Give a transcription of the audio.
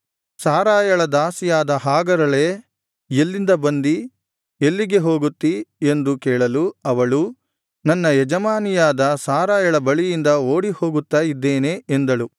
ಸಾರಯಳ ದಾಸಿಯಾದ ಹಾಗರಳೇ ಎಲ್ಲಿಂದ ಬಂದಿ ಎಲ್ಲಿಗೆ ಹೋಗುತ್ತೀ ಎಂದು ಕೇಳಲು ಅವಳು ನನ್ನ ಯಜಮಾನಿಯಾದ ಸಾರಯಳ ಬಳಿಯಿಂದ ಓಡಿಹೋಗುತ್ತಾ ಇದ್ದೇನೆ ಎಂದಳು